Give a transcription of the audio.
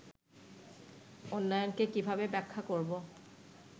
উন্নয়নকে কীভাবে ব্যাখ্যা করব